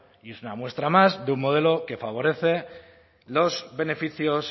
y es una muestra más de un modelo que favorece los beneficios